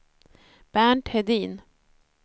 Bernt Hedin